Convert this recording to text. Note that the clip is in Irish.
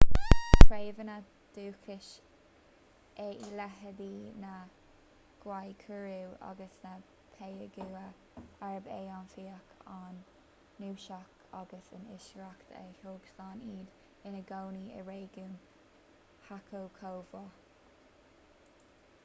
bhí treibheanna dúchais eile leithéidí na guaycurú agus na payaguá arb é an fiach an cnuasach agus an iascaireacht a thug slán iad ina gcónaí i réigiún chaco chomh maith